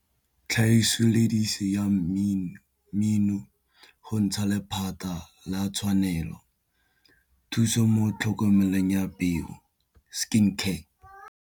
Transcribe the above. Tlhagiso lesedi ya mmino go ntsha lephata la tshwanelo, thuso mo tlhokomelong ya peo skin care.